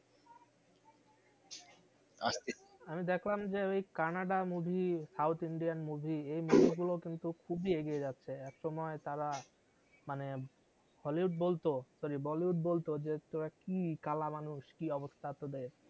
আমি দেখলাম যে ওই Kannada movie south Indian movie এই movie গুলো কিন্তু খুবই এগিয়ে যাচ্ছে একসময় তারা মানে hollywood বলতো sorry bollywood বলতো যে তোরা কি কালা মানুষ কি অবস্থা তোদের